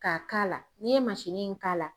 K'a k'a la n'i ye in k'a la